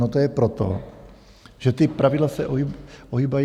No to je proto, že ta pravidla se ohýbají.